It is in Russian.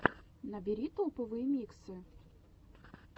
набери топовые миксы